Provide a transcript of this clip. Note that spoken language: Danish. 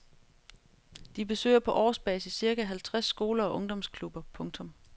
De besøger på årsbasis cirka halvtreds skoler og ungdomsklubber. punktum